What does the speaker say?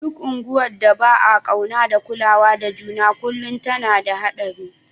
Duk unguwar da ba'a kauna da kulawa da juna kullum tana da hadari.